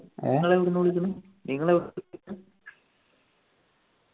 നിങ്ങൾ എവിടുന്ന് വിളിക്കുന്നു നിങ്ങൾ എവിടുന്ന് വിളിക്കുന്ന